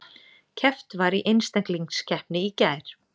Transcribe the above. Keppt var í einstaklingskeppni í gær